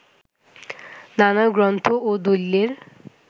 নানা গ্রন্থ ও দলিলের